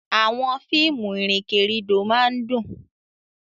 Àwọn fíìmù ìrìnkèrindò máa ń dùn.